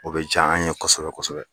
O bɛ jan an ye kosɛbɛ kosɛbɛ.